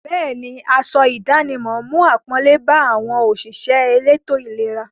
Bẹ́ẹ̀ni, aṣọ ìdánimọ̀ mú àpọ́nlé bá àwọn òṣìṣẹ́ elétò-ìlera.